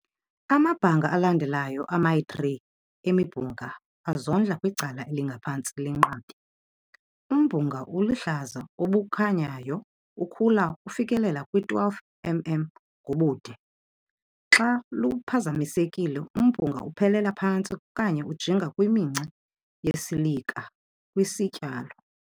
Amabhanga alandelayo amayi-3 emibhunga azondla kwicala elingaphantsi legqabi. Umbhunga oluhlaza obukhanyayo ukhula ufikelela kwi 12 mm ngobude. Xa luphazamisekile, umbhunga uphelela phantsi okanye ujinga kwiminca yesilika kwisityalo.